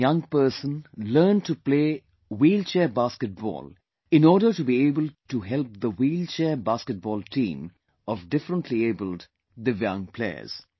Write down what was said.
One young person learned to play wheelchair basket ball in order to be able to help the wheelchair basket ball team of differently abled, divyang players